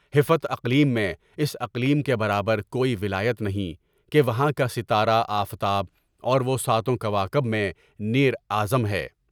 ہفت اقلیم میں اس اقلیم کے برابر کوئی ولایت نہیں کہ وہاں کا ستارہ آفتاب اور وہ ساتوں کوا کب میں نیر اعظم ہے۔